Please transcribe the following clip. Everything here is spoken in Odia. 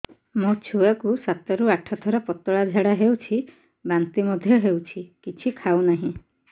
ମୋ ଛୁଆ କୁ ସାତ ରୁ ଆଠ ଥର ପତଳା ଝାଡା ହେଉଛି ବାନ୍ତି ମଧ୍ୟ୍ୟ ହେଉଛି କିଛି ଖାଉ ନାହିଁ